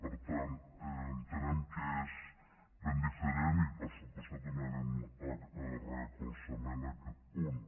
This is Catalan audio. per tant entenem que és ben diferent i per descomptat donarem recolzament en aquest punt